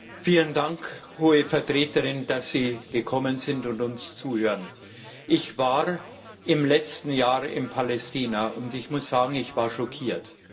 Herr Präsident! Vielen Dank, Frau Hohe Vertreterin, dass Sie gekommen sind und uns zuhören. Ich war im letzten Jahr in Palästina, und ich muss sagen, ich war schockiert.